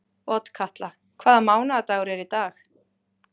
Otkatla, hvaða mánaðardagur er í dag?